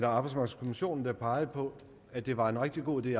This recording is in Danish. arbejdsmarkedskommissionen der pegede på at det var en rigtig god idé